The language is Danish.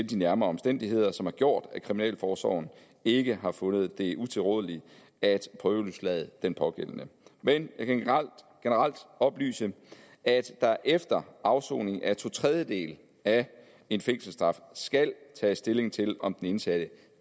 de nærmere omstændigheder som har gjort at kriminalforsorgen ikke har fundet det utilrådeligt at prøveløslade den pågældende men jeg kan generelt oplyse at der efter afsoning af to tredjedele af en fængselsstraf skal tages stilling til om den indsatte